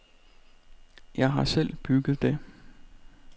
Jeg har selv bygget det.